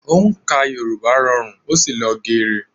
Òǹkà Yorùbá rọrùn ó sì lọ gere